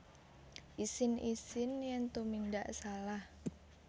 Isin Isin yen tumindak salah